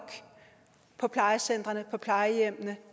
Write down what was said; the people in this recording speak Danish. på plejecentrene på plejehjemmene